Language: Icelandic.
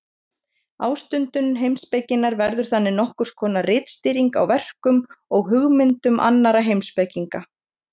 ástundun heimspekinnar verður þannig nokkurs konar ritskýring á verkum og hugmyndum annarra heimspekinga